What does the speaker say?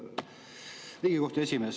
Riigikohtu esimees.